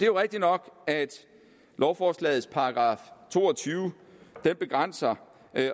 jo rigtig nok at lovforslagets § to og tyve begrænser